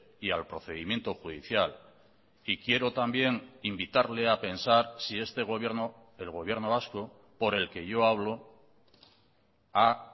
y al procedimiento judicial y quiero también invitarle a pensar si este gobierno el gobierno vasco por el que yo hablo ha